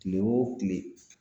Kile o kile